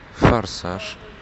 форсаж